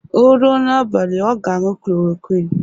O ruo n'abalị, ọga aṅụ klorokwin